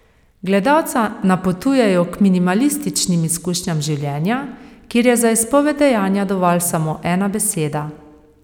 Gledalca napotujejo k minimalističnim izkušnjam življenja, kjer je za izpoved dejanja dovolj samo ena beseda.